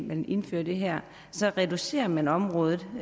man indfører det her reducerer man området